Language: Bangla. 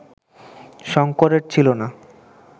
শঙ্করের ছিল না